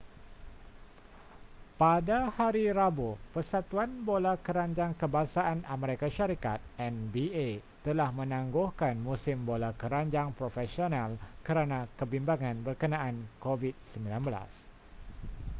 pada hari rabu persatuan bola keranjang kebangsaan amerika syarikat nba telah menangguhkan musim bola keranjang profesional kerana kebimbangan berkenaan covid-19